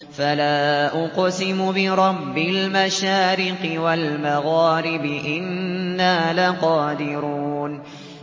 فَلَا أُقْسِمُ بِرَبِّ الْمَشَارِقِ وَالْمَغَارِبِ إِنَّا لَقَادِرُونَ